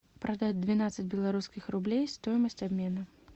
продать двенадцать белорусских рублей стоимость обмена